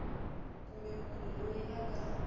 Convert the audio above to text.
kumbe munhu loyi a nga